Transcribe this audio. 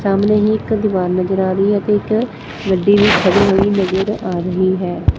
ਸਾਹਮਣੇ ਹੀ ਇੱਕ ਦੀਵਾਰ ਨਜ਼ਰ ਆ ਰਹੀ ਹੈ ਅਤੇ ਇਕ ਗੱਡੀ ਵੀ ਖੜੀ ਹੋਈ ਨਜ਼ਰ ਆ ਰਹੀ ਹੈ।